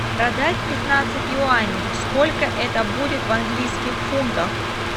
продать пятнадцать юаней сколько это будет в английских фунтах